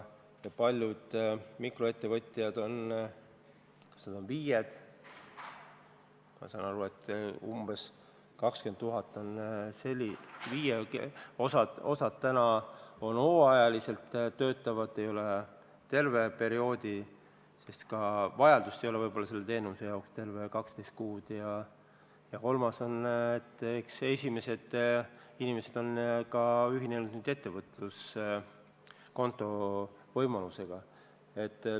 Paljud mikroettevõtjad on FIE-d – ma saan aru, et meil on umbes 20 000 FIE-t –, osa on hooajaliselt töötavad isikud – nad ei tööta tervet perioodi, sest ka vajadus nende teenuse järele ei pruugi kesta 12 kuud – ja kolmandad on need, kes on nüüdseks ühinenud ettevõtluskonto võimalusega.